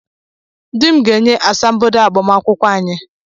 Dị m ga-enye asambodo agbamakwụkwọ anyị!